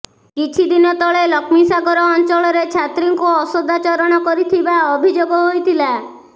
କିଛି ଦିନ ତଳେ ଲକ୍ଷ୍ମୀସାଗର ଅଞ୍ଚଳରେ ଛାତ୍ରୀଙ୍କୁ ଅସଦାଚରଣ କରିଥିବା ଅଭିଯୋଗ ହୋଇଥିଲା